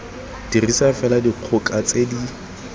dirisa fela dikgoka tse di